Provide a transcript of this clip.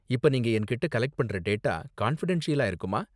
இப்ப நீங்க என்கிட்ட கலெக்ட் பண்ற டேட்டா கான்ஃபிடென்ஷியலா இருக்குமா?